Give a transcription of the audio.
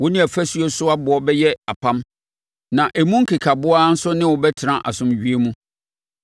Wo ne afuo so aboɔ bɛyɛ apam, na emu nkekaboa nso ne wo bɛtena asomdwoeɛ mu.